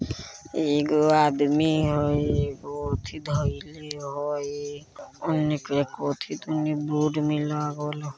ईगो आदमी हई एगो येथी धइले हई बोर्ड में हई।